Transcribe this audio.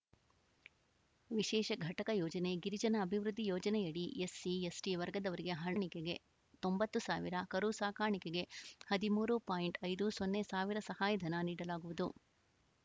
ವಿಶೇಷ ಘಟಕ ಯೋಜನೆ ಗಿರಿಜನ ಅಭಿವೃದ್ಧಿ ಯೋಜನೆಯಡಿ ಎಸ್‌ಸಿ ಎಸ್‌ಟಿ ವರ್ಗದವರಿಗೆ ಹರ್ನಿಕೆಗೆ ತೊಂಬತ್ತು ಸಾವಿರ ಕರು ಸಾಕಾಣಿಕೆಗೆ ಹದಿಮೂರು ಪಾಯಿಂಟ್ ಐದು ಸೊನ್ನೆ ಸಾವಿರ ಸಹಾಯಧನ ನೀಡಲಾಗುವುದು